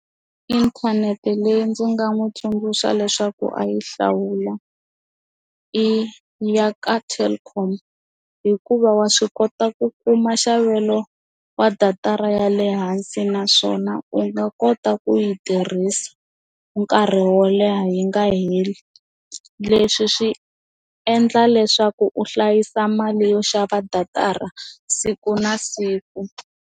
Inthanete leyi ndzi nga n'wi tsundzuxa leswaku a yi hlawula i ya ka Telkom hikuva wa swi kota ku kuma nxavelo wa datara ya le hansi naswona u nga kota ku yi tirhisa nkarhi wo leha yi nga heli leswi swi endla leswaku u hlayisa mali yo xava datara siku na siku.